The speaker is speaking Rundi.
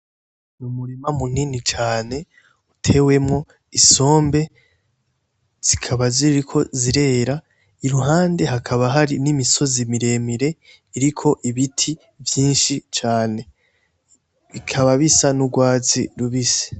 Ri umurima munini cane utewemwo isombe zikaba ziriko zirera iruhande hakaba hari n'imisozi miremire iriko ibiti vyinshi cane bikaba bisa n'urwazi rubise.